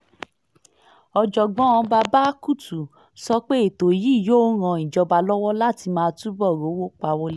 ọ̀jọ̀gbọ́n babakutu sọ pé ètò yìí yóò ran ìjọba lọ́wọ́ láti máa túbọ̀ rówó pa wọlé